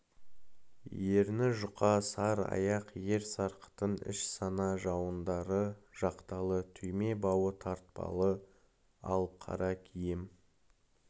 ерні жұқа сар аяқ ер сарқытын іш сана жауырындары жақталы түйме бауы тартпалы ал қара киім